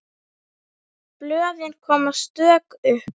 Blöðin koma stök upp.